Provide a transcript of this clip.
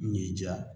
Ɲ'i diya